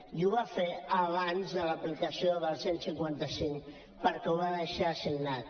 i ho va fer abans de l’aplicació del cent i cinquanta cinc perquè ho va deixar signat